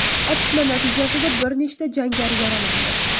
Otishma natijasida bir nechta jangari yaralandi.